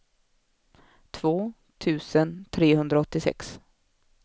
två tusen trehundraåttiosex